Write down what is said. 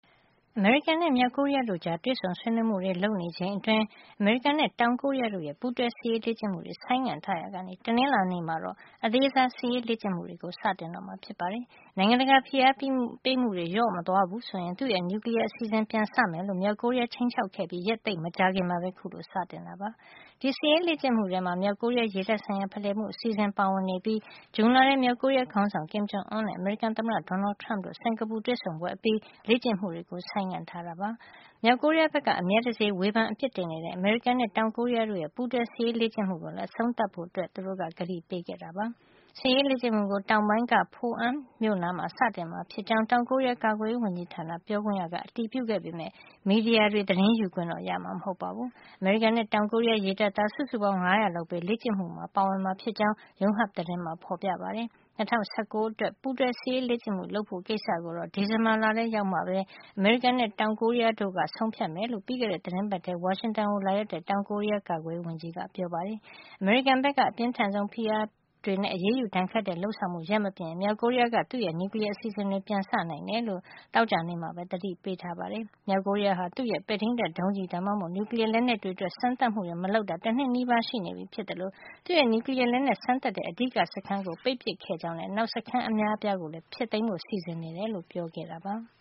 အမေရိကန်နဲ့ မြောက်ကိုရီးယားတို့ကြား တွေ့ဆုံဆွေးနွေးမှုတွေ လုပ်နေချိန်အတွင်း အမေရိကန်နဲ့ တောင်ကိုရီးယားတို့ရဲ့ ပူးတွဲစစ်ရေး လေ့ကျင့်မှုတွေ ဆိုင်းငံ့ထားရာကနေ တနင်္လာနေ့မှာတော့ အသေးစားစစ်ရေးလေ့ကျင့်မှုတွေ စတင်တော့မှာဖြစ်ပါတယ်။ နိုင်ငံတကာဖိအားပေးမှုတွေ လျော့မသွားဘူး ဆိုရင် သူ့ရဲ့ နျူကလီယား အစီစဉ်တွေပြန်စမယ်လို့ မြောက်ကိုရီးယားက ခြိမ်းခြောက်ခဲ့ပြီး ရက်သိပ်မကြာခင်မှာပဲ အခုလို စတင်တာလည်း ဖြစ်ပါတယ်။ ဒီစစ်ရေးလေ့ကျင့်မှုထဲမှာ ကိုရီးယား ရေတပ်ဆိုင်ရာဖလှယ်မှု အစီအစဉ်ပါဝင်နေပြီး ဇွန်လထဲမှာ မြောက်ကိုရီးယား ခေါင်းဆောင် Kim Jong Un နဲ့ အမေရိကန် သမ္မတ Donald Trump တို့ စင်္ကာပူတွေ့ဆုံပွဲအပြီး လေ့ကျင့်မှုတွေ ဆိုင်းငံ့ထားတာ ဖြစ်ပါတယ်။ ဒါ့အပြင် မြောက်ကိုရီးယားဘက်က အမြဲတစေ ဝေဖန်အပြစ်တင်နေတဲ့ အမေရိကန်နဲ့ တောင်ကိုရီးယားတို့ရဲ့ ပူးတွဲ စစ်ရေးလေ့ကျင့်မှုကိုလည်း အဆုံးသတ်ဖို့ ကတိပေးခဲ့ပါတယ်။ စစ်ရေးလေ့ကျင့်မှုကို တောင်ပိုင်းက Pohang မြို့နားမှာ စတင်မှာ ဖြစ်ကြောင်း တောင်ကိုရီးယား ကာကွယ်ရေး ဝန်ကြီးဌာန ပြောခွင့်ရက အတည်ပြုခဲ့ပေမယ့် မီဒီယာတွေ သတင်းယူခွင့်တော့ ရမှာ မဟုတ်ပါဘူး။ အမေရိကန်နဲ့ တောင်ကိုရီးယား ရေတပ်သား စုစုပေါင်း ၅၀၀ လောက်ပဲ လေ့ကျင့်မှုမှာ ပါဝင်မှာ ဖြစ်ကြောင်း Yonhap သတင်းမှာ ဖေါ်ပြပါတယ်။ ၂၀၁၉ အတွက် ပူးတွဲ စစ်ရေးလေ့ကျင့်မှု လုပ်ဖို့ကိစ္စကိုတော့ ဒီဇင်ဘာလရောက်မှပဲ အမေရိကန်နဲ့ တောင်ကိုရီးယားတို့က ဆုံးဖြတ်မယ်လို့ ပြီးခဲ့တဲ့ သီတင်းပတ်ထဲ ဝါရှင်တန်ကို လာရောက်တဲ့ တောင်ကိုရီးယား ကာကွယ်ရေးဝန်ကြီးကပြောပါတယ်။ အမေရိကန်ဘက်က အပြင်းထန်ဆုံး ဖိအားတွေနဲ့ အရေးယူဒဏ်ခတ်တဲ့ လုပ်ဆောင်မှုတွေ ရပ်မပစ်ရင် မြောက်ကိုရီးယားက သူ့ရဲ့ နျူကလီယားအစီအစဉ်တွေကို ပြန်စနိုင်တယ်လို့ မြောက်ကိုရီးယားက သောကြာနေ့ကပဲ သတိပေးထားပါတယ်။ မြောက်ကိုရီးယားဟာ သူ့ရဲ့ ပဲ့ထိန်းတပ်ဒုံးကျည် ဒါမှမဟုတ် နျူကလီယားလက်နက်အတွက် စမ်းသပ်မှုတွေ မလုပ်တာ တနှစ်နီးပါး ရှိနေပြီ ဖြစ်သလို သူ့ရဲ့ နျူကလီယား လက်နက် စမ်းသပ်တဲ့ အဓိကစခန်းကို ပိတ်ပစ်ခဲ့ကြောင်းနဲ့ နောက်စခန်းအများအပြားကိုလည်း ဖျက်သိမ်းဖို့ စီစဉ်နေတယ်လို့လည်း ပြောကြားခဲ့ တာပါ။